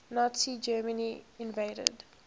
nazi germany invaded